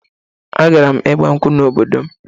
Agara m ịgbankwụ n'obodo m